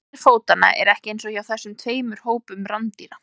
formgerð fótanna er ekki eins hjá þessum tveimur hópum rándýra